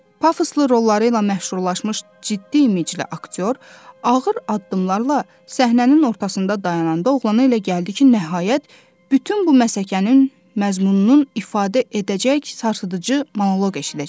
Pafoslu rolları ilə məşhurlaşmış ciddi imiclə aktyor ağır addımlarla səhnənin ortasında dayananda oğlana elə gəldi ki, nəhayət bütün bu məsəkənin məzmununu ifadə edəcək sarsıdıc monolq eşidəcək.